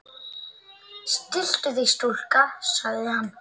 Stilltu þig stúlka, sagði hann.